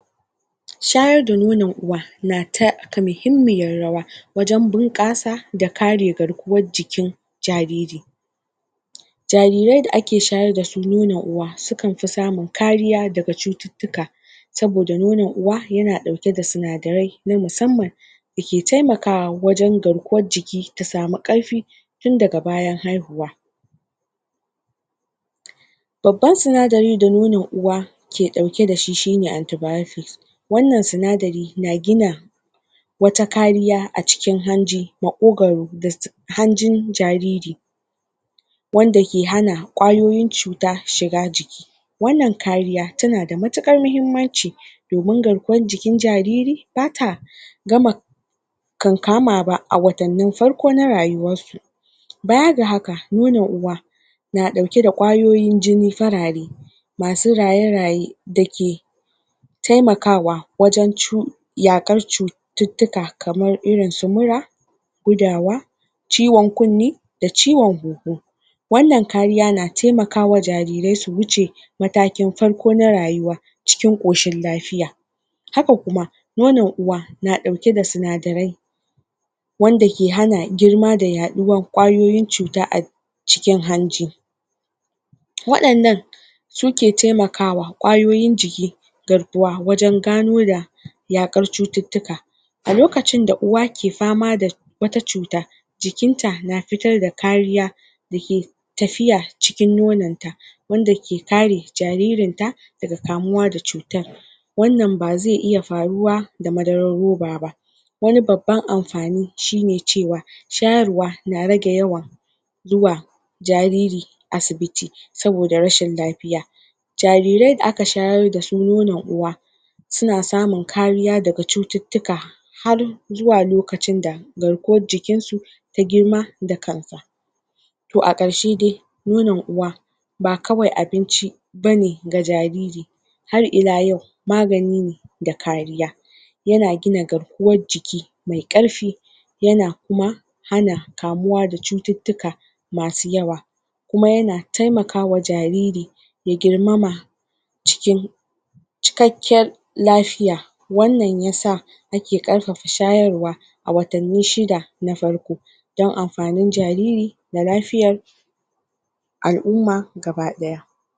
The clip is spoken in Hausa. shayar da nonon uwa na taka muhimmiyar rawa wajan bunƙasa da kare garkuwar jikin jariri jarirai da ake shayar dasu nono uwa sukanfi samun kariya daga cututtuka saboda nonon uwa yana ɗauke da sinadarai na musamman dake taimakawa wajan garkuwar jiki ta samu ƙarfi tun daga bayan haihuwa babban sinadari da nonon uwa ke ɗauke dashi shine anti biotic wannan sinadari na gina wata kariya a cikin hanji maƙogaru da hanjin jariri wanda ke hana ƙwayoyin cuta shiga jiki wannan kariya tana da matuƙar mahimmanci domin garkuwar jikin jariri bata gama kankama ba a watannin farko na rayuwarsu baya ga haka na ɗauke da ƙwayoyin jini farare masu raye raye dake taimakawa wajan yaƙar cututtuka kamar irin su mura gudawa ciwan kunne da ciwan hunhu wannan kariya na taimakawa jarirai su wuce matakin farko na rayuwa cikin koshin lafiya haka kuma nonon uwa na ɗauke da sinadarai wanda ke hana girma da yaɗuwar ƙwayoyin cuta a cikin hanji waɗannan suke taimakawa ƙwayoyin jikigarkuwa wajan gano da ya ƙar cututtuka a lokacin da uwa ke fama da wata cuta jikinta na fitar da kariya dake tafiya cikin nononta wanda ke kare jaririnta daga kamuwa da cutar wannan ba zai iya faruwa da madarar ruba ba wani babban amfani shine cewa shayarwa na rage yawan zuwa jariri asibiti saboda rashin lafiya jarirai da aka shayar dasu nonon uwa suna samun kariya daga cututtuka har zuwa lokacin da garkuwar jikinsu ta girma da kanta to a ƙarshe dai nonon uwa ba kawai abinci bane ga jariri har ila yau magani ne da kariya yana gina garkuwar jiki mai ƙarfi ya kuma hana kamuwa da cututtuka masu yawa kuma yana taimakawa jariri ya girmama cikakkin lafiya wannan yasa nake ƙarfafa shayarwa a watanni shida na farko don amfanin jariri da lafiyar al'umma gaba ɗaya